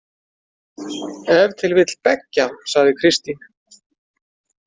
Ef til vill beggja, sagði Kristín.